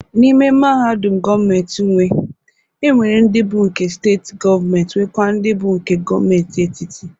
N'ime mahadum ndị gọọmentị nwe, e nwere ndị bụ nke steetị gọọmentị nwekwa ndị bụ nke gọọmentị etiti.